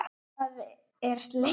Annað er slegið.